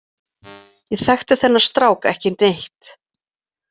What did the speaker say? Ég þekkti þennan strák ekki neitt.